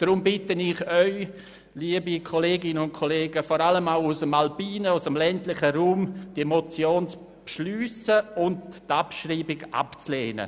Deshalb bitte ich Sie, liebe Kolleginnen und Kollegen auch aus dem ländlichen Raum, die Motion zu überweisen und die Abschreibung abzulehnen.